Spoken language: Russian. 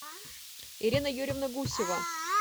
ирина юрьевна гусева